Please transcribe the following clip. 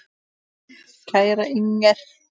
Kæra Inger.